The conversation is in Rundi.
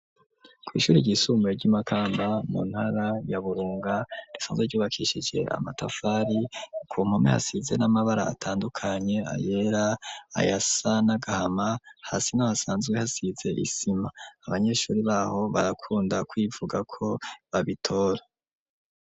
Kw'ishuri ryisumbuye ry'imakamba mu ntara ya burunga risanzwe ryubakishije amatafari ku mpome hasize n'amabara atandukanye ayera ayasa n'agahama hasi naho hasanzwe hasize isima abanyeshuri baho barakunda kwivuga ko babitora.